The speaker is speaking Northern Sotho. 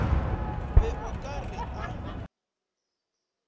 be o ka re a